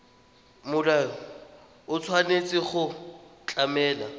molao o tshwanetse go tlamela